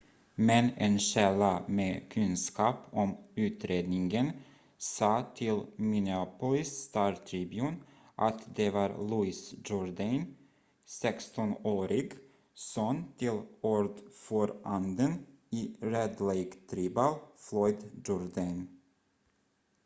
men en källa med kunskap om utredningen sa till minneapolis star-tribune att det var louis jourdain 16-årig son till ordföranden i red lake tribal floyd jourdain